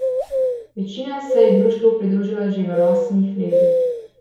Večina se je društvu pridružila že v rosnih letih.